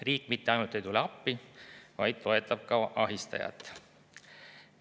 Riik mitte ainult ei jäta appi tulemata, vaid ka toetab ahistajat.